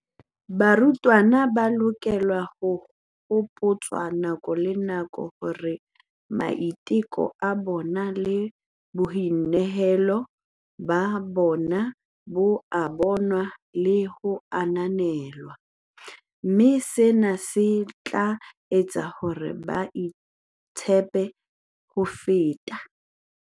"Barutwana ba hloka ho hopotswa nako le nako hore maiteko a bona le boinehelo ba bona bo a bonwa le ho ananelwa, mme sena se tla etsa hore ba itshepe ho feta."